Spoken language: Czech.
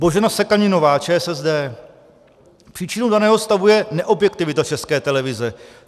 Božena Sekaninová, ČSSD: Příčinou daného stavu je neobjektivita České televize.